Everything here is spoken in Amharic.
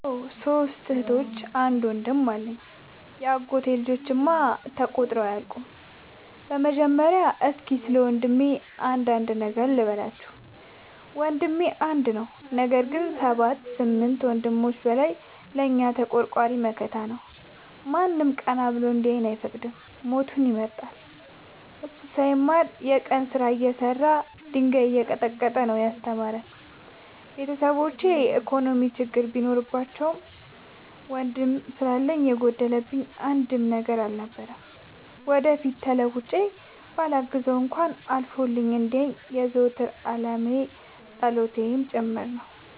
አዎ ሶስት እህቶች አንድ ወንድም አለኝ የአጎቴ ልጆች እማ ተቆጥረው አያልቁም። በመጀመሪያ እስኪ ስለወንድሜ አንዳንድ ነገር ልበላችሁ። ወንድሜ አንድ ነው ነገር ግን አሰባት ከስምንት ወንድሞች በላይ ለእኛ ተቆርቋሪ መከታ ነው። ማንም ቀና ብሎ እንዲያየን አይፈቅድም ሞቱን ይመርጣል። እሱ ሳይማር የቀን ስራ እየሰራ ድንጋይ እየቀጠቀጠ ነው። ያስተማረን ቤተሰቦቼ የኢኮኖሚ ችግር ቢኖርባቸውም ወንድም ስላለኝ የጎደለብኝ አንድም ነገር አልነበረም። ወደፊት ተለውጬ በላግዘው እንኳን አልፎልኝ እንዲየኝ የዘወትር ፀሎቴ አላማዬም ጭምር ነው።